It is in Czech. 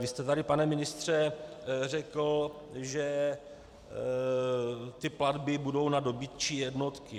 Vy jste tady, pane ministře, řekl, že ty platby budou na dobytčí jednotky.